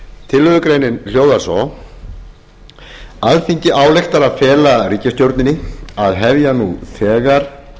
tillögugreinin hljóðar svo alþingi ályktar að fela ríkisstjórninni að hefja nú þegar